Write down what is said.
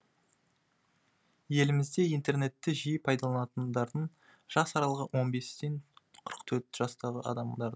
елімізде интернетті жиі пайдаланатындардың жас аралығы он бестен қырық төрт жастағы адамдар